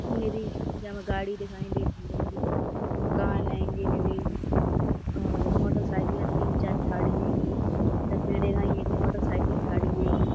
निरि जामे गाड़ी दिखाई देती हेंगी। मकान हेंगे निरे और मोटरसाइकिल है। तीन चार ठाड़ी हेंगी। एक एक मोटरसाइकिल ठाड़ी हेगी।